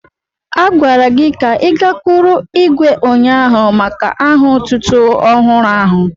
A gwara gị ka I gakwụrụ ihwé ụnyaahụ maka aha otútú ọhụrụ áhù